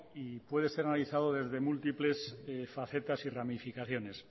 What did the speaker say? y puede ser analizado desde múltiples facetas y ramificaciones